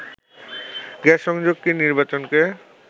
gas সংযোগ কি নির্বাচনকে